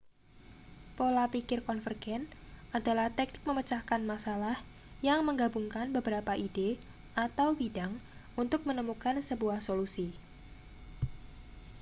pola pikir konvergen adalah teknik memecahkan masalah yang menggabungkan beberapa ide atau bidang untuk menemukan sebuah solusi